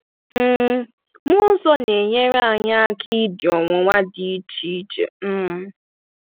um Mmụọ nsọ na-enyere anyị aka idi ọnwụnwa dị iche iche um.